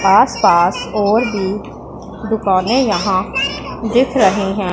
आस पास और भी दुकाने यहां दिख रही हैं।